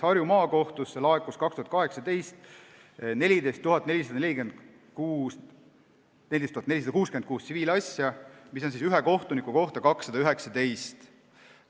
Harju Maakohtusse laekus 2018. aastal 14 466 tsiviilasja, ühe kohtuniku kohta 219 kohtuasja.